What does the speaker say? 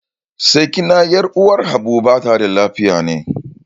Sakina 'yar uwar Habu bata da lafiya ne.